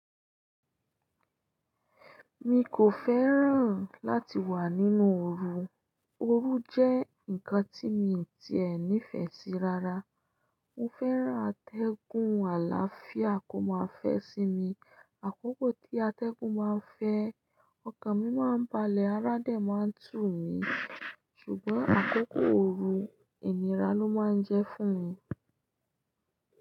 Mi kò fẹ́ràn láti wà nínú oru. Oru jẹ́ nǹkan tí mi ti ẹ̀ nífẹ̀ẹ́ sí rara. Mo fẹ́ràn atẹ́gùn àlàáfíà kó má fẹ́ sí mi. Àkókò tí atẹ́gùn máa ń fẹ́, ọkàn mi máa ń balẹ̀, arádẹ̀ máa ń tù mí, ṣùgbọ́n àkókò ooru, ìnira ló máa ń jẹ́ fún mi.